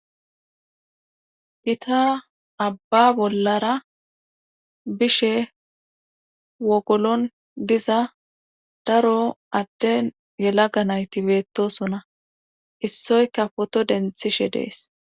gita abba bollara bishe wogolon diza daro adde yelaga nayti beettosona issoyka poto denthishe dees